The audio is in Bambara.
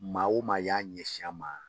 Maa o maa y'a ɲɛsin an ma